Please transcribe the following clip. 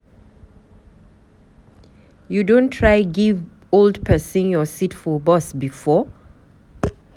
You don try give old pesin your seat for bus before?